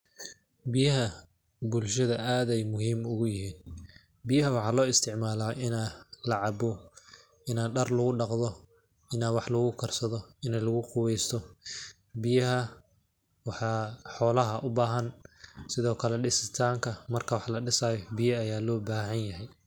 Biyaha bulshada ad ay muhim ugu yihin, biyaha waxaa lo isticmala ina lacabo, ina dar lagudaqdho, ina wax lagukarsadoh, ina laguqubeystoh. Biyaha xolaha ubahan, sidhokale disitanka marki wax ladisayo biya aya lobahanyahay.